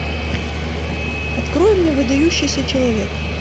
открой мне выдающийся человек